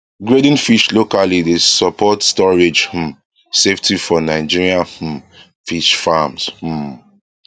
grading fish locally dey support storage um safety for nigerian um fish farms um